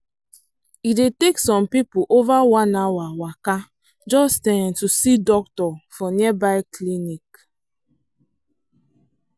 e dey take some people over one hour waka just um to see doctor for nearby clinic.